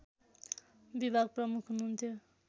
विभाग प्रमुख हुनुहन्थ्यो